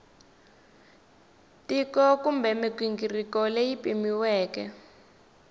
tiko kumbe mighingiriko leyi pimiweke